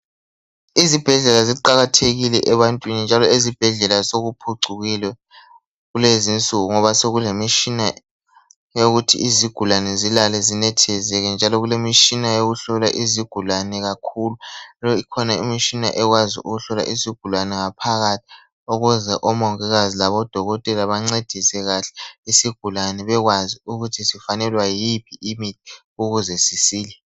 Izibhedlela ziqalathekile ebantwini njalo ezibhedlela sokuphucukile kulezi nsuku .Ngoba sokulemitshina eyokuthi izigulane zilale zinethezeke njalo kulemitshina yokuhlola izigulane kakhulu .Njalo ikhona imitshina ekwazi ukuhlola izigulane ngaphakathi okwenza omongikazi labo dokotela bancedise kahle isigulane bekwazi ukuthi sifanelwa yiphi imithi ukuze sisile